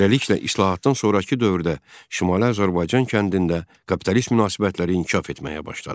Beləliklə, islahatdan sonrakı dövrdə Şimali Azərbaycan kəndində kapitalist münasibətləri inkişaf etməyə başladı.